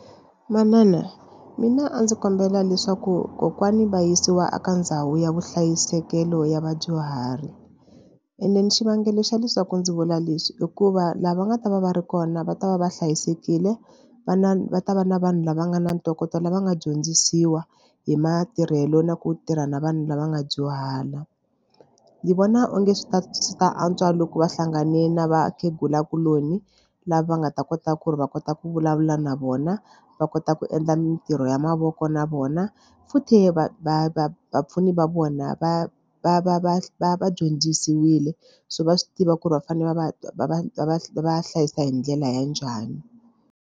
Manana mina a ndzi kombela leswaku kokwani va yisiwa eka ndhawu ya vuhlayisekelo ya vadyuhari and then xivangelo xa leswaku ndzi vula leswi i ku va laha va nga ta va va ri kona va ta va va hlayisekile va na va ta va na vanhu lava nga na ntokoto lava nga dyondzisiwa hi matirhelo na ku tirha na vanhu lava nga dyuhala. Ni vona onge swi ta swi ta antswa loko va hlangane na vakhegula kuloni lava nga ta kota ku ri va kota ku vulavula na vona va kota ku endla mitirho ya mavoko na vona futhi va va va vapfuni va vona va va va va va va dyondzisiwile so va swi tiva ku ri va fanele va va va va va va va hlayisa hi ndlela ya njhani.